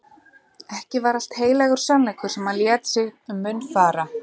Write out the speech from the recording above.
Ekki var allt heilagur sannleikur sem hann lét sér um munn fara.